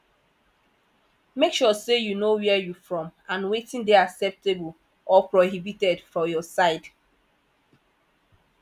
make sure say you know where you from and wetin de acceptable or prohibited for your side